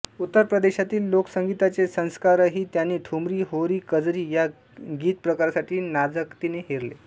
उत्तर प्रदेशातील लोकसंगीताचे संस्कारही त्यांनी ठुमरी होरी कजरी या गीत प्रकारांसाठी नजाकतीने हेरले